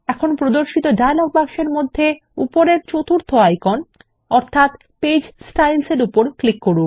এখন প্রদর্শিত ডায়লগ বাক্সের মধ্যে উপরের চতুর্থ আইকন পেজ Styles এর উপর ক্লিক করুন